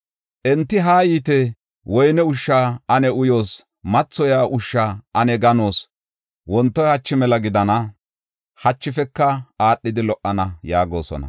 Enti, “Haa yiite; woyne ushsha ane uyoos; mathoyiya ushsha ane ganoos! Wontoy hachi mela gidana; hachifeka aadhidi lo77ana” yaagosona.